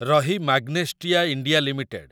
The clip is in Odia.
ରହି ମାଗ୍ନେଷ୍ଟିଆ ଇଣ୍ଡିଆ ଲିମିଟେଡ୍